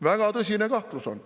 Väga tõsine kahtlus on.